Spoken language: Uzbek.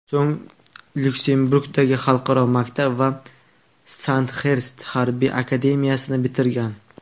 So‘ng Lyuksemburgdagi xalqaro maktab va Sandxerst harbiy akademiyasini bitirgan.